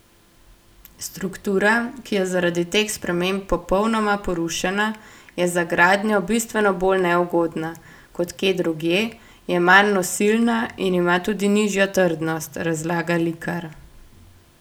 Struktura, ki je zaradi teh sprememb popolnoma porušena, je za gradnjo bistveno bolj neugodna, kot kje drugje, je manj nosilna in ima tudi nižjo trdnost, razlaga Likar.